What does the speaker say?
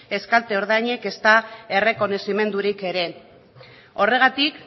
ez kalte ordainik ezta errekonozimendurik ere horregatik